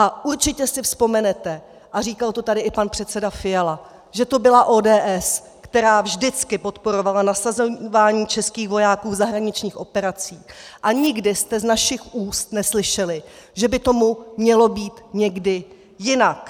A určitě si vzpomenete, a říkal to tady i pan předseda Fiala, že to byla ODS, která vždycky podporovala nasazování českých vojáků v zahraničních operacích, a nikdy jste z našich úst neslyšeli, že by tomu mělo být někdy jinak.